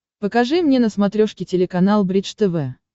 покажи мне на смотрешке телеканал бридж тв